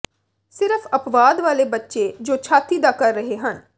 ਸਿਰਫ ਅੱਪਵਾਦ ਵਾਲੇ ਬੱਚੇ ਜੋ ਛਾਤੀ ਦਾ ਕਰ ਰਹੇ ਹਨ